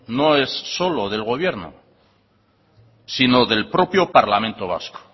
no es solo del gobierno sino del propio parlamento vasco